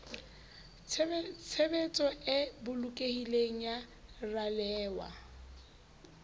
tshebetso e bolokehileng ya ralewa